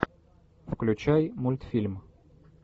включай мультфильм